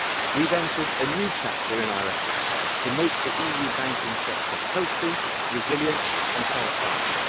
We have entered a new chapter in our efforts to make the EU banking sector healthy, resilient and transparent.